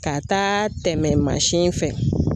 Ka taa tɛmɛ mansin fɛ